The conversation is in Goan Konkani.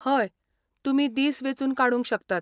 हय, तुमी दीस वेंचून काडूंक शकतात.